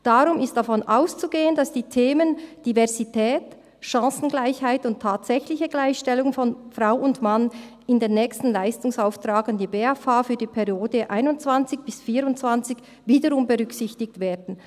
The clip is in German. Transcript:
Darum ist davon auszugehen, dass die Themen Diversität, Chancengleichheit und tatsächliche Gleichstellung von Frau und Mann in den nächsten Leistungsauftrag an die BFH für die Periode 2021–2024 wiederum berücksichtigt werden.